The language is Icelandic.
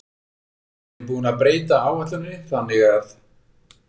Við erum búin að breyta áætluninni þannig að.